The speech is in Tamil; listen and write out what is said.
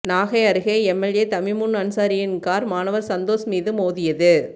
நாகை அருகே எம்எல்ஏ தமிமுன் அன்சாரியின் கார் மாணவர் சந்தோஷ் மீது மோதியது